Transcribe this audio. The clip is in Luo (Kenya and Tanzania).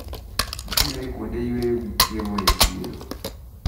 Nitiere kuonde yweyo gi chiemo e chiro.